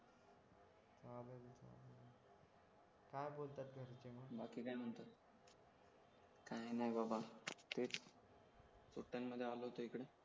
काय बोलतात घरचे मग बाकी काय म्हणतो काय नाही बाबा तेच सुट्ट्यांमध्ये आलो होतो इकडे